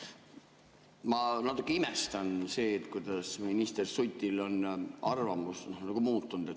Ma natukene imestan, kuidas minister Suti arvamus on muutunud.